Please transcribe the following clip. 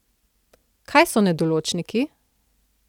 Kaj so nedoločniki?